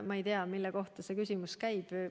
Ma ei tea, mille kohta see küsimus käib.